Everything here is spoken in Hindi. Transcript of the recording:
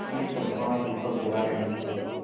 तरूणी चंपा दीपक जला रही थी